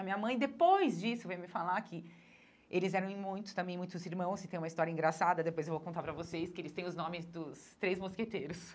A minha mãe, depois disso, veio me falar que eles eram em muitos também muitos irmãos, e tem uma história engraçada, depois vou contar para vocês, que eles têm os nomes dos três mosqueteiros.